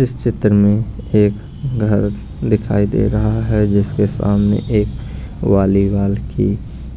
इस चित्र में एक घर दिखाई दे रहा है जिसके सामने एक वालीवाल की